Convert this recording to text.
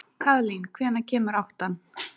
Kaðlín, hvenær kemur áttan?